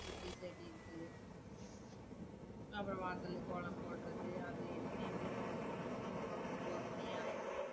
சுத்தி, செடி இருக்கு அப்புறம் வாசல்ல கோலம் போடுறது அது இதுன்னு எப்படியோ ஒரு ஒ~ ஒன்பது மணி ஆயிடும்.